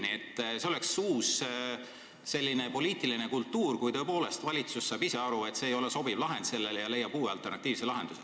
Aga jah, see oleks uus poliitiline kultuur, kui valitsus tõepoolest saaks aru, et see ei ole sobiv lahend, ja leiab alternatiivse lahenduse.